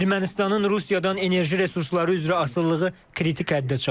Ermənistanın Rusiyadan enerji resursları üzrə asılılığı kritik həddə çatıb.